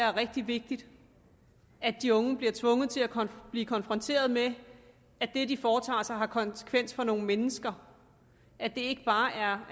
er rigtig vigtigt at de unge bliver tvunget til at blive konfronteret med at det de foretager sig har konsekvens for nogle mennesker at det ikke bare er